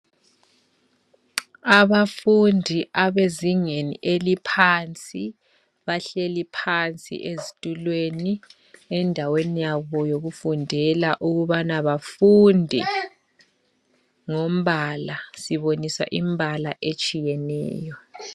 Abafundi abezingeni eliphansi bahleli phansi ezitulweni endaweni yabo yekufundela ukubana bafunde ngompala siboniswa impala etshiyeneyo.